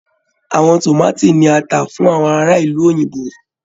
Àwọn tomaati ní a ta fún àwọn ará ìlú òyìnbó.